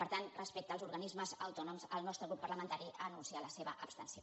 per tant respecte als organismes autònoms el nostre grup parlamentari anuncia la seva abstenció